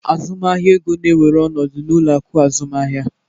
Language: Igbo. Azụmahịa ego na-ewere ọnọdụ n'ụlọ akụ azụmaahịa.